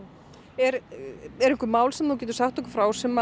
eru einhver mál sem þú getur sagt okkur frá sem